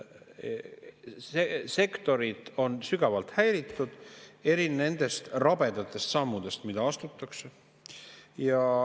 Sektorid on sügavalt häiritud nendest rabedatest sammudest, mida astutakse.